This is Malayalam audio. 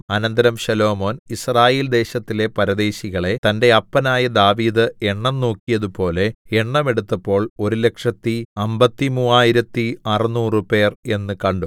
അനന്തരം ശലോമോൻ യിസ്രായേൽദേശത്തിലെ പരദേശികളെ തന്റെ അപ്പനായ ദാവീദ് എണ്ണംനോക്കിയതുപോലെ എണ്ണം എടുത്തപ്പോൾ ഒരുലക്ഷത്തി അമ്പത്തിമൂവായിരത്തി അറുനൂറു പേർ എന്ന് കണ്ടു